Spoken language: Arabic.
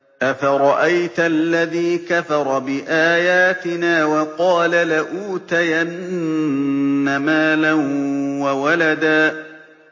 أَفَرَأَيْتَ الَّذِي كَفَرَ بِآيَاتِنَا وَقَالَ لَأُوتَيَنَّ مَالًا وَوَلَدًا